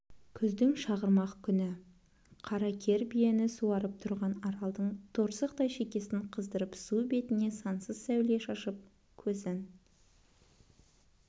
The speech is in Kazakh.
күздің шағырмақ күні қара кер биені суарып тұрған аралдың торсықтай шекесін қыздырып су бетіне сансыз сәуле шашып көзін